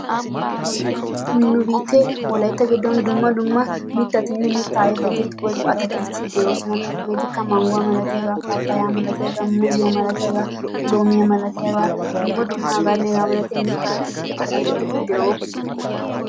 Nu biitteen wolaitta gidon dumma dumma mittatinne mitta ayfeti woikko atakilteti de'oosona. Hegeetikka manguwaa malatiyaagaa, papayaa malatiyaagaa, muuzziyaa malatiyaagaa loomiya malatiyaagaa dumma dumma hagettanne hageeta malatiya atakiltettinne mitta ayfeti de'oosona.